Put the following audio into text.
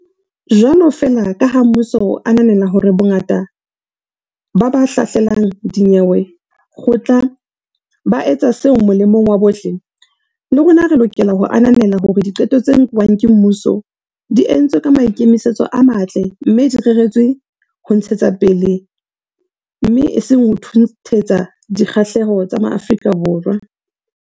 Jwalo feela kaha mmuso o ananela hore bongata ba ba hlahlelang dinyewe kgotla ba etsa seo molemong wa bohle, le rona re lokela ho ananela hore diqeto tse nkuweng ke mmuso di entswe ka maikemisetso a matle mme di reretswe ho ntshetsapele, mme e seng ho thunthetsa, dikgahlehelo tsa Maafrika Borwa.